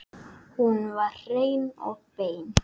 Hún var hrein og bein.